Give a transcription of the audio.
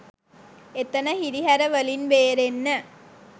එතන හිරිහැර වලින් බේරෙන්න